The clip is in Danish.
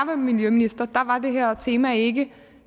miljøminister var det her tema ikke